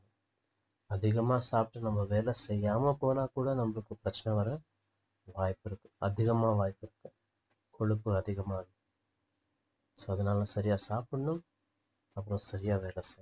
அதிகமா சாப்பிட்டு நம்ப வேலை செய்யாம போனா கூட நம்பளுக்கு பிரச்சனை வர வாய்ப்பிருக்கு அதிகமா வாய்ப்பிருக்கு கொழுப்பு அதிகமா இருக்கு so அதுனால சரியா சாப்பிடணும் அப்பறம் சரியா வேலை செய்யணும்